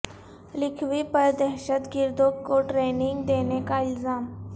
لکھوی پر دہشت گردوں کو ٹریننگ دینے کا الزام